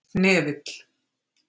Hnefill